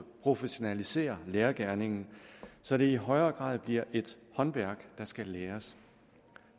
professionalisere lærergerningen så det i højere grad bliver et håndværk der skal læres